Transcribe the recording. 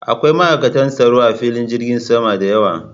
Akwai ma'aikata tsaro a filin jirgin sama da yawa